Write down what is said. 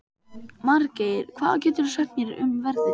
Margeir, hvað geturðu sagt mér um veðrið?